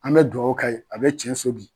An be dugawu ka ye. A be tiɲɛso bi.